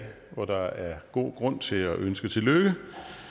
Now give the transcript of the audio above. hvor der er god grund til at ønske tillykke